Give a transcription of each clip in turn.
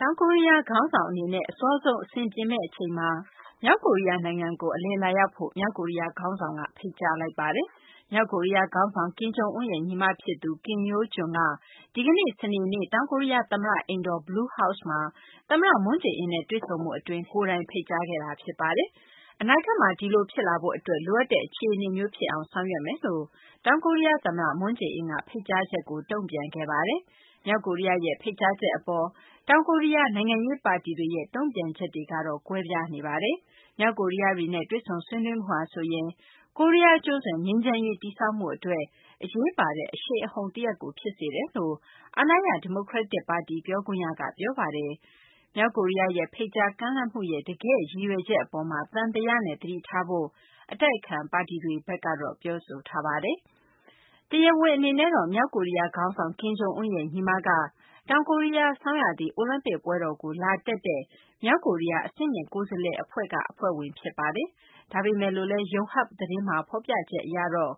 တောင်ကိုရီးယား ခေါင်းဆောင် အစောဆုံး အဆင်ပြေမယ့် အချိန် မြောက်ကိုရီးယား နိုင်ငံကို အလည်လာရောက်ဖို့ မြောက်ကိုရီးယား ခေါင်းဆောင်က ဖိတ်ကြားလိုက်ပါတယ်။ မြောက်ကိုရီးယား ခေါင်းဆောင် ကင်ဂျုံအွန်းရဲ့ ညီမဖြစ်သူ Kim Yo Jong က ဒီကနေ့ စနေနေ့ တောင်ကိုရီးယား သမ္မတ အိမ်တော် Blue House မှာ သမ္မတ မွန်းဂျေအင်းနဲ့ တွေ့ဆုံမှု အတွင်း ကိုယ်တိုင် ဖိတ်ကြားခဲ့တာ ဖြစ်ပါတယ်။ အနာဂတ်မှာ ဒီလို ဖြစ်လာရေး အတွက် လိုအပ်တဲ့ အခြေအနေမျိုး ဖြစ်အောင် ဆောင်ရွက်မယ်လို့ တောင်ကိုရီးယား သမ္မတ မွန်းဂျေအင်းက ဖိတ်ကြားချက်ကို တုံ့ပြန်ခဲ့ပါတယ်။ မြောက်ကိုရီးယားရဲ့ ဖိတ်ကြားချက် အပေါ် တောင်ကိုရီးယား နိုင်ငံရေး ပါတီတွေရဲ့ တုံ့ပြန်ချက်တွေ ကတော့ ကွဲပြားနေပါတယ်။ မြောက်ကိုရီးယားတွေနဲ့ တွေ့ဆုံဆွေးနွေးမှုဟာ ဆိုရင် ကိုရီးယားကျွန်းဆွယ် ငြိမ်းချမ်းရေး တည်ဆောက်မှု အတွက် အရေးပါတဲ့ အရှိန်အဟုန်တရပ်ကို ဖြစ်စေတယ်လို့ အာဏာရ ဒီမိုကရက်တစ် ပါတီ ပြောခွင့်ရက ပြောဆိုပါတယ်။ မြောက်ကိုရီးယား ရဲ့ ဖိတ်ကြားကမ်းလှမ်းမှုရဲ့ တကယ့် ရည်ရွယ်ချက် အပေါ်မှာ သံသယနဲ့ သတိထားဖို့ အတိုက်အခံ ပါတီတွေဘက်က ပြောဆိုထားပါတယ်။ တရားဝင် အနေနဲ့တော့ မြောက်ကိုရီးယား ခေါင်းဆောင် ကင်ဂျုံအွန်းရဲ့ ညီမက တောင်ကိုရီးယား ဆောင်းရာသီအိုလံပစ်ပွဲတော်ကို လာတက်တဲ့ မြောက်ကိုရီးယား အဆင့်မြင့် ကိုယ်စားလှယ် အဖွဲ့ရဲ့ အဖွဲ့ဝင် ဖြစ်ပါတယ်။ ဒါပေမယ်လို့လည်း ယုံဟပ် သတင်းမှာ ဖော်ပြချက်မှာတော့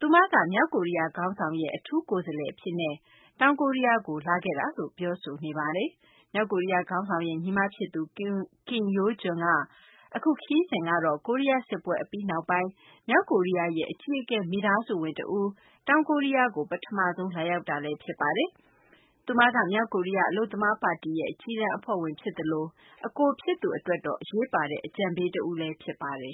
သူမက မြောက်ကိုရီးယား ခေါင်းဆောင်ရဲ့ အထူးကိုယ်စားလှယ် အဖြစ်နဲ့ တောင်ကိုရီးယားကို လာခဲ့တာလို့ ဖော်ပြထားပါတယ်။ မြောက်ကိုရီးယား ခေါင်းဆောင်ရဲ့ ညီမဖြစ်သူ Kim Yo Jong ရဲ့ အခု ခရီးစဉ်ကတော့ ကိုရီးယား စစ်ပွဲ အပြီးနောက်ပိုင်း မြောက်ကိုရီးယားရဲ့ အကြီးအကဲ မိသားစုဝင် တဦး တောင်ကိုရီးယားကို ပထမဆုံး လာရောက်တာ ဖြစ်ပါတယ်။ သူမက မြောက်ကိုရီးယား အလုပ်သမား ပါတီရဲ့ အကြီးတန်း အဖွဲ့ဝင် ဖြစ်သလို အကိုဖြစ်သူရဲ့ အရေးပါတဲ့ အကြံပေး တဦးလည်း ဖြစ်ပါတယ်